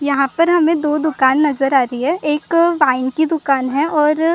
यहां पर हमें दो दुकान नजर आ रही है एक वाइन की दुकान है और--